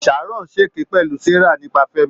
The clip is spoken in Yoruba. Sharon ṣèké pẹ̀lú Sarah nípa Fẹ́mi.